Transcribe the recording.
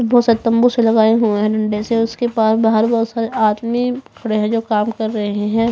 बहोत सारे तंबू से लगाए हुए है डंडे से उसके पास बहार बहोत सारे आदमी दिख रहे है जो काम कर रहे है।